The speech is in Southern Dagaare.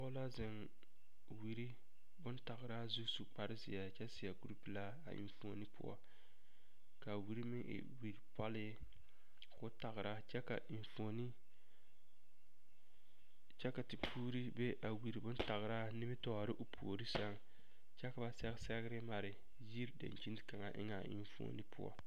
Pɔge la zeŋ wiri bontagraa zu su kparezeɛ kyɛ seɛ kuripelaa a enfuoni poɔ k,a wiri meŋ e wiripɔlee k,o tagra kyɛ ka enfuoni kyɛ ka tepuuri be a wiri bontagraa nimitɔɔre o puori seŋ kyɛ ka ba sɛge sɛgre mare yiri dankyini kaŋa eŋɛ a enfuoni poɔ.